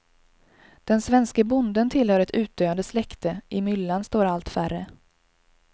Den svenske bonden tillhör ett utdöende släkte, i myllan står allt färre.